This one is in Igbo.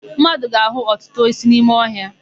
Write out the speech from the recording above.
Mmadụ ga-áhụ̀ ọtụtụ osisi n'ime ọhịa.